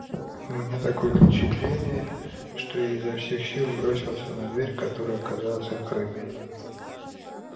у меня такое впечатление что я изо всех сил бросился на дверь которая оказалась открытой